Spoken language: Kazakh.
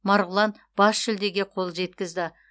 марғұлан бас жүлдеге қол жеткізді